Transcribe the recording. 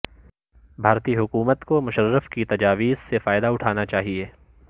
بھارتی حکومت کو مشرف کی تجاویز سےفائدہ اٹھانا چاہئے